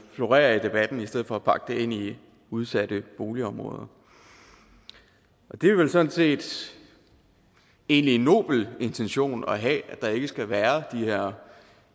florerer i debatten i stedet for at pakke det ind i udsatte boligområder det er vel sådan set egentlig en nobel intention at have altså at der ikke skal være de her